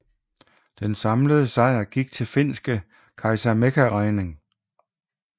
Den samlede sejr gik til finske Kaisa Mäkäräinen